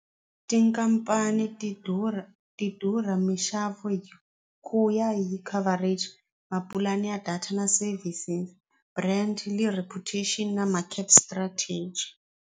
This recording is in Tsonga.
Tikhampani ti durha ti durha mixavo hi ku ya hi coverage mapulani ya data na services brand na ma cap strategy.